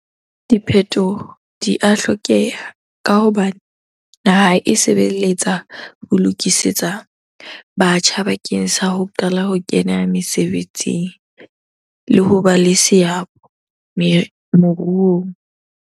Diphetoho di a hlokeha ka hobane naha e sebeletsa ho lokisetsa batjha bakeng sa ho qala ho kena mesebetsing le ho ba le seabo moruong.